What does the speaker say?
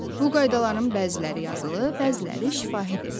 Bu qaydaların bəziləri yazılı, bəziləri şifahidir.